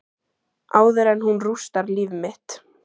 Áður en hún rústar líf mitt.